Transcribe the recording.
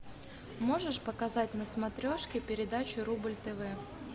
можешь показать на смотрешке передачу рубль тв